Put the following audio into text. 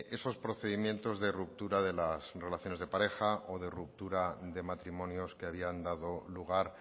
esos procedimientos de ruptura de las relaciones de pareja o de ruptura de matrimonios que habían dado lugar